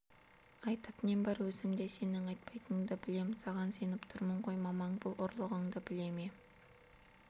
айтып нем бар өзім де сенің айтпайтыныңды білем саған сеніп тұрмын ғой мамаң бұл ұрлығыңды біле ме